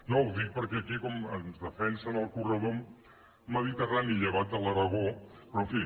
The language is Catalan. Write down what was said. no ho dic perquè aquí com ens defensen el corredor mediterrani llevat de l’aragó però en fi